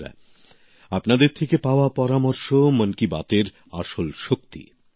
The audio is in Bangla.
বন্ধুরা আপনাদের থেকে পাওয়া পরামর্শ মন কি বাত এর আসল শক্তি